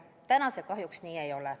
Praegu see kahjuks nii ei ole.